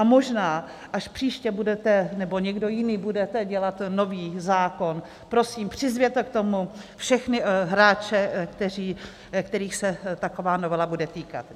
A možná, až příště budete, nebo někdo jiný budete dělat nový zákon, prosím, přizvěte k tomu všechny hráče, kterých se taková novela bude týkat.